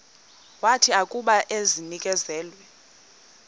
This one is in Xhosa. wathi akuba enikezelwe